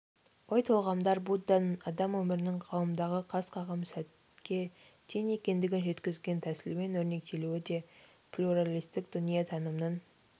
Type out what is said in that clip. ой-толғамдар будданың адам өмірінің ғаламдағы қас-қағым сәтке тең екендігін жеткізген тәмсілмен өрнектелуі де плюралистік дүниетанымның